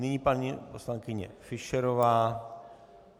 Nyní paní poslankyně Fischerová.